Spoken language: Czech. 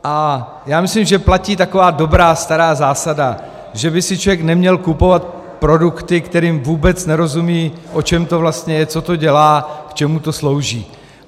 A já myslím, že platí taková dobrá stará zásada, že by si člověk neměl kupovat produkty, kterým vůbec nerozumí, o čem to vlastně je, co to dělá, k čemu to slouží.